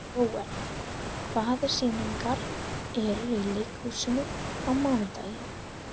Jóel, hvaða sýningar eru í leikhúsinu á mánudaginn?